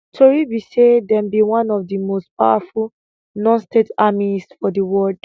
tori be say dem be one of di most powerful nonstate armies for di world